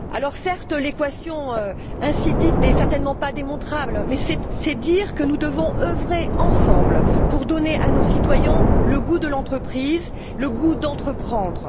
Certes, ainsi présentée, l'équation n'est certainement pas démontrable, mais c'est dire que nous devons œuvrer ensemble pour donner à nos citoyens le goût de l'entreprise, le goût d'entreprendre.